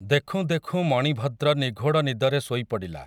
ଦେଖୁଁ ଦେଖୁଁ ମଣିଭଦ୍ର ନିଘୋଡ଼ ନିଦରେ ଶୋଇପଡ଼ିଲା ।